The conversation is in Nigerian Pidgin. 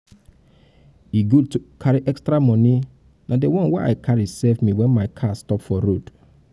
e good to carry extra money na the one wey i carry save me wen my car stop for road